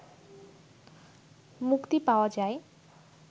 মুক্তি পাওয়া যায়